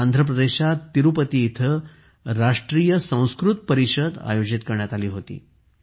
तर आंध्र प्रदेशात तिरुपती येथे राष्ट्रीय संस्कृत परिषद आयोजित करण्यात आली होती